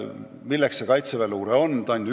Milleks Kaitseväe luure üldse mõeldud on?